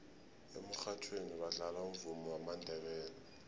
emurhatjhweni badlala umvumo wamandebele